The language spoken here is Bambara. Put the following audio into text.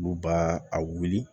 Olu b'a a wuli